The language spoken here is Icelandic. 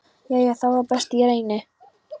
Jæja, þá það, best ég reyni.